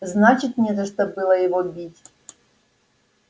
значит не за что было его бить